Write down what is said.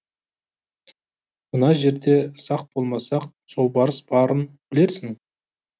мына жерде сақ болмасақ жолбарыс барын білерсің